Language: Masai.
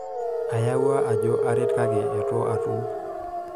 aayewuo ajo aaret kake itu aatum